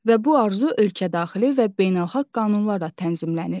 Və bu arzu ölkədaxili və beynəlxalq qanunlarla tənzimlənir.